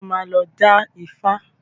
Ṣé o máa lọ dá Ifá?